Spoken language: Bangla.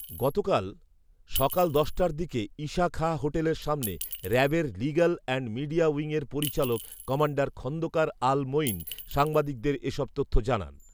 গতকাল সকাল দশটার দিকে ঈশা খাঁ হোটেলের সামনে র‍্যাবের লিগ্যাল অ্যান্ড মিডিয়া উইংয়ের পরিচালক কমান্ডার খন্দকার আল মঈন সাংবাদিকদের এসব তথ্য জানান